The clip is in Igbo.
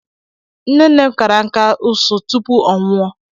Nne nne m kara nkà ụsụ tupu ọ nwụọ